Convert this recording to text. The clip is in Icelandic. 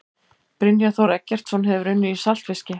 Brynjar Þór Eggertsson Hefurðu unnið í saltfiski?